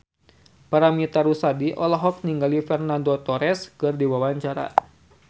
Paramitha Rusady olohok ningali Fernando Torres keur diwawancara